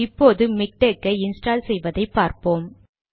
இப்போது மிக்டெக் ஐ இன்ஸ்டால் செய்வதை பார்ப்போம்